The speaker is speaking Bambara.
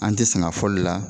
An tɛ sɛŋ'a foli la